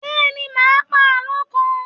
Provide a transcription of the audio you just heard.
Bẹ́ẹ̀ ni, mà á pa àlọ́ kan.